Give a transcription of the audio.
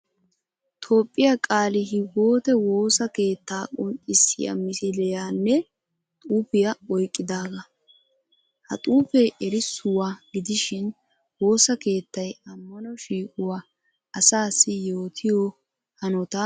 Toophphiya qaali hiwote woosa keettaa qonccissiya misiliyanne xuufiya oyqqidaagaa. Ha xuufee erissuwa gidishin woosa keettay ammano shiiquwa asaassi yootiyo hanotaa qonccissees.